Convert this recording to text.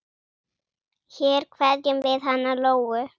Hér kveðjum við hana Lóu.